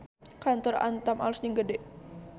Kantor Antam alus jeung gede